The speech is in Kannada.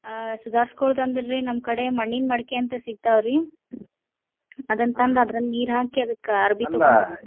ಅಹ್ ಸುದರ್ಸ್ಕೊಳುದ್ ಅಂದ್ರರಿ ನಮ್ಮ್ ಕಡೆ ಮಣ್ಣಿನ ಮಡಕಿ ಅಂತ್ ಸಿಗ್ತಾವ್ರಿ ಅದನ್ ಅದ್ರಲ್ಲಿ ನೀರ್ ಹಾಕಿ ಅದ್ಕಕ ಅರ್ಬಿ ತಗೊಂಡ್ .